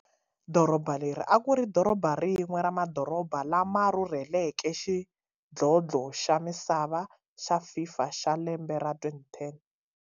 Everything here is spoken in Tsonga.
Doroba leri akuri rin'we ra madoroba la ma rhurheleke xidlodlo xa misava xa FIFA xa lembe ra 2010.